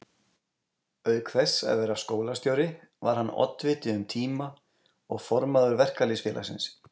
Auk þess að vera skólastjóri var hann oddviti um tíma og formaður Verkalýðsfélagsins.